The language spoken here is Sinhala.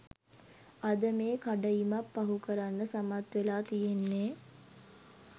අද මේ කඩඉමක් පහු කරන්න සමත් වෙලා තියෙන්නේ.